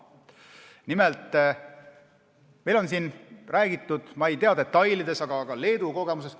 Nimelt, meil on räägitud Leedu kogemusest.